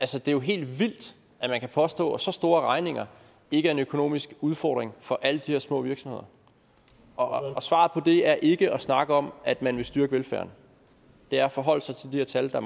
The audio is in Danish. det er jo helt vildt at man kan påstå at så store regninger ikke er en økonomisk udfordring for alle de her små virksomheder og svaret på det er ikke at snakke om at man vil styrke velfærden det er at forholde sig til de her tal der